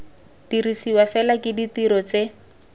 dirisiwa fela ke dirori tse